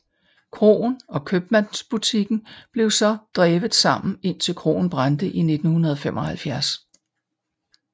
Kroen og købmandsbutikken blev så drevet sammen indtil kroen brændte i 1975